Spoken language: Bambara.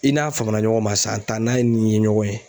I n'a fama na ɲɔgɔn ma san tan n'a ni ɲɔgɔn ye